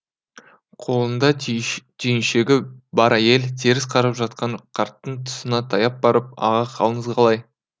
қолында түйіншегі бар әйел теріс қарап жатқан қарттың тұсына таяп барып аға қалыңыз қалай